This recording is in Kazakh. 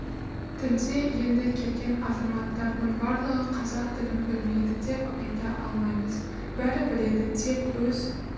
тілде енді келген азаматтардың барлығы қазақ тілін білмейді деп айта алмаймыз бәрі біледі тек өз